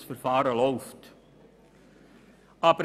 Das Verfahren läuft noch.